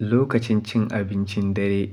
Lokacin cin abincin dare